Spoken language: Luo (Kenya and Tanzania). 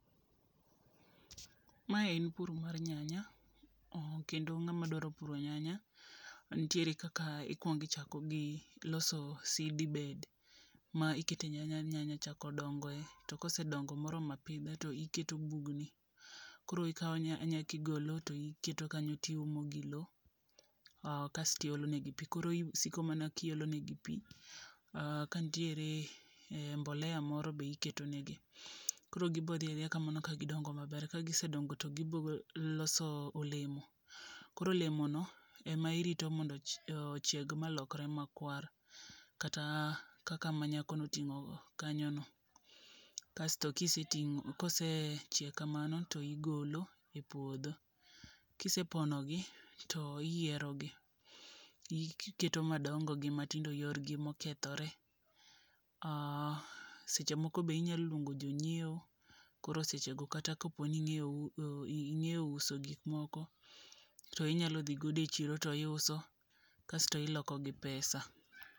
Mae en puro mar nyanya, o kendo ng'ama dwaro puro nyanya ntiere kaka ikwongi chako gi loso seedbed. Ma ikete nyanya nyanya chako dongo e, to kose dongo moroma pidha to iketo bugni. Koro ikawo nyanya tigolo to iketo kanyo tiumo gi lo, kasti olo ne gi pi. A kasti olo negi pi, koro isiko mna kiolo ne gi pi. Kantiere mbolea moro be iketo ne gi. Koro gibo dhi adhiya kamano ka gidongo maber. Ka gise dongo to gibo loso olemo, koro olemo no ema irito mondo olokre makwar. Kata kaka ma nyako no oting'o no, kanyo go. Kasto kiseting'o, kose chiek kamano to igolo e puodho. Kise pono gi, to iyiero gi. Iketo madongo gi matindo yorgi mokethore. Seche moko be inyalo luongo jonyiewo, koro seche go kata ka ingeyo u ing'e uso gik moko. Koro inyalo dhi godo e chiro to iuso kato iloko gi pesa.